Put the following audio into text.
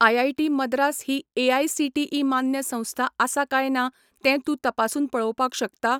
IIT Madras ही AICTE मान्य संस्था आसा काय ना तें तूं तपासून पळोवपाक शकता?